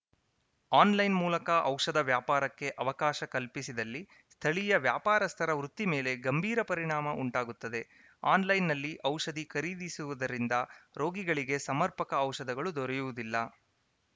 online ಮೂಲಕ ಔಷಧ ವ್ಯಾಪಾರಕ್ಕೆ ಅವಕಾಶ ಕಲ್ಪಿಸಿದಲ್ಲಿ ಸ್ಥಳೀಯ ವ್ಯಾಪಾರಸ್ಥರ ವೃತ್ತಿ ಮೇಲೆ ಗಂಭೀರ ಪರಿಣಾಮ ಉಂಟಾಗುತ್ತದೆ ಆನ್‌ಲೈನ್‌ನಲ್ಲಿ ಔಷಧಿ ಖರೀದಿಸುವುದರಿಂದ ರೋಗಿಗಳಿಗೆ ಸಮರ್ಪಕ ಔಷಧಗಳು ದೊರೆಯುವುದಿಲ್ಲ